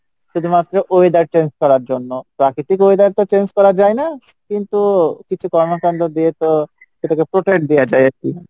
শুধুমাএ weather change করার জন্য, প্রাকৃতিক weather তো change করা যাইনা কিন্তু কিছু কর্মকাণ্ড দিয়ে তো সেটাকে protect দেওয়া যাই আর কী।